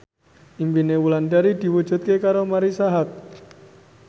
impine Wulandari diwujudke karo Marisa Haque